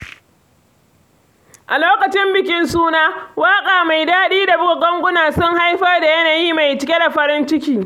A lokacin bikin suna, waƙa mai daɗi da buga ganguna sun haifar da yanayi mai cike da farin ciki.